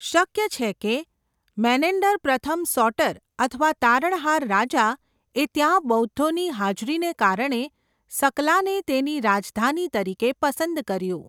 શક્ય છે કે મેનેન્ડર પ્રથમ સોટર અથવા 'તારણહાર રાજા' એ ત્યાં બૌદ્ધોની હાજરીને કારણે સકલાને તેની રાજધાની તરીકે પસંદ કર્યું.